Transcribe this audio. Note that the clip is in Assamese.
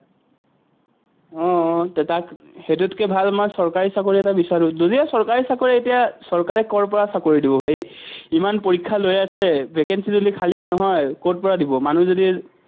আহ তাক, সেইটোতকে ভাল আমাৰ চৰকাৰী চাকৰি এটা বিচাৰোঁ। যদি চৰকাৰী চাকৰি এতিয়া চৰকাৰে কৰপৰা চাকৰি দিব, ভাই। ইমান পৰীক্ষা লৈ আছে, vacancy যদি খালিয়ে নহয়, কৰপৰা দিব, মানুহ যদি